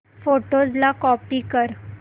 photos ला copy कर